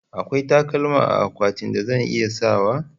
Akwai takalma a akwatinki da zan iya sawa?